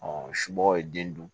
somɔgɔw ye den dun